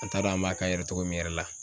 An t'a dɔn an b'a k'a yɛrɛ togo min yɛrɛ la.